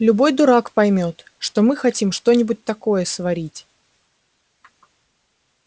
любой дурак поймёт что мы хотим что-нибудь такое сварить